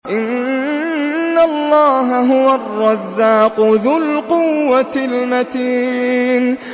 إِنَّ اللَّهَ هُوَ الرَّزَّاقُ ذُو الْقُوَّةِ الْمَتِينُ